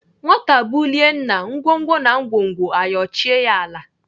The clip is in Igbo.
Nwata bulie nna, ngwongwo na ngwongwo ayochie ya ala.